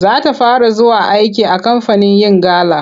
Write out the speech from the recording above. Za ta fara zuwa aiki a kamfanin yin gala.